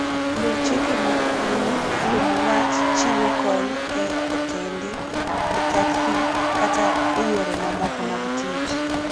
Luw chike mag pinyu kuom wach chiwo kony e otende, e taksi, kata e yore mamoko mag tich.